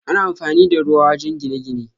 Ana amfani da ruwa wajen gine-gine.